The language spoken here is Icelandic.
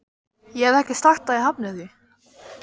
Ég hef ekki sagt að ég hafni því.